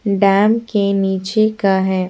Dam के नीचे का है।